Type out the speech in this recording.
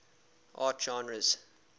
art genres